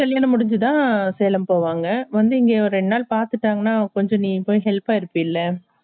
முடிஞ்சுதா சேலம் போவாங்க அந்து இங்க ரெண்டுநாள் பத்துப்பாங்கனா கோசம் நீ அவங்களுக்கு help பா இருப்பேள